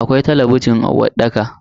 Akwai talabijin a uwarɗaka.